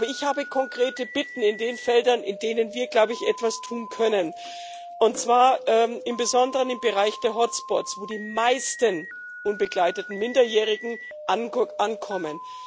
Aber ich habe konkrete Bitten in den Feldern, in denen wir glaube ich etwas tun können, und zwar im Besonderen im Bereich der Hotspots, wo die meisten unbegleiteten Minderjährigen ankommen.